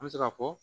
An bɛ se k'a fɔ